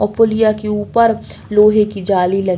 ओ पुलिया के ऊपर लोहे की जाली लगी --